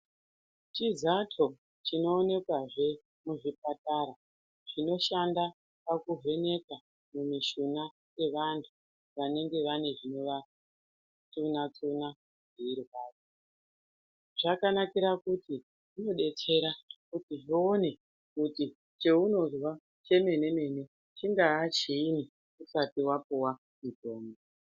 Chizato chinooneka zve muzvipatara chinoshanda pakuvheneka mumishuna dzevanhu vanenge vane zvinova tsuna tsuna zveirwadza zvakanakira kuti inodetsera kuti zvoone kuti cheunozwa chemene mene chingaa chiini usati wapiwa mutombo.